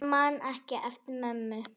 Ég man ekki eftir mömmu.